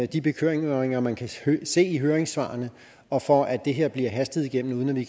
de bekymringer man kan se i høringssvarene og for at det her bliver hastet igennem uden at vi